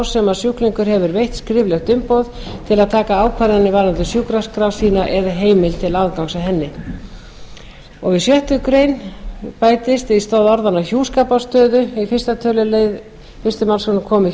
sem sjúklingur hefur veitt skriflegt umboð til að taka ákvarðanir varðandi sjúkraskrá sína eða heimild til aðgangs að henni annað við sjöttu grein í stað orðanna og hjúskaparstöðu í fyrsta tölulið fyrstu málsgreinar komi